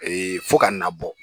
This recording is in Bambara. fo ka na bɔ